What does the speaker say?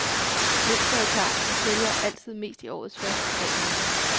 Mønsteret er klart, vi sælger altid mest i årets første tre måneder.